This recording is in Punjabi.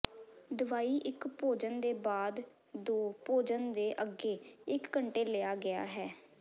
ਦਵਾਈ ਇੱਕ ਭੋਜਨ ਦੇ ਬਾਅਦ ਦੋ ਭੋਜਨ ਦੇ ਅੱਗੇ ਇੱਕ ਘੰਟੇ ਲਿਆ ਗਿਆ ਹੈ